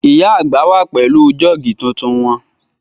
Ìyá àgbà wà pẹ̀lú jọ́ọ̀gì tuntun wọn